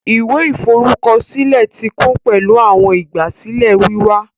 Ìwé ìforúkọsílẹ ti kún pẹlu awọn igbasilẹ wíwá